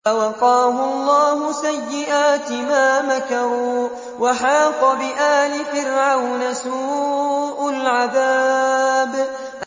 فَوَقَاهُ اللَّهُ سَيِّئَاتِ مَا مَكَرُوا ۖ وَحَاقَ بِآلِ فِرْعَوْنَ سُوءُ الْعَذَابِ